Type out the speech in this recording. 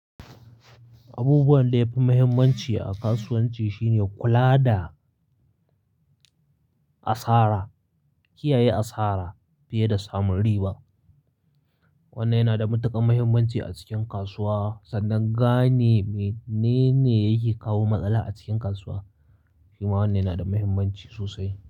Abubuwan da yafi muhimmanci a kasuwanci shine kula da asara, kiyaye asara fiye da samun riba. Wannan yana da matuƙar muhimmanci a cikin kasuwa sannan gane menene yake kawo matsala a cikin kasuwa. Shima wannan yana da muhimmanci sosai.